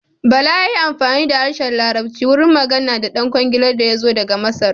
Bala ya yi amfani da harshen larabci wurin magana da ɗan kwangilar da yazo daga Masar.